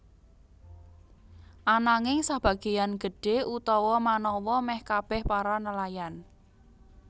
Ananging sebagéan gedhé utawa manawa meh kabeh para nelayan